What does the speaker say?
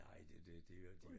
Nej det det de vil jo ikke de